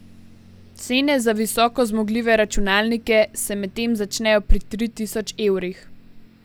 Cene za visoko zmogljive računalnike se medtem začnejo pri tri tisoč evrih.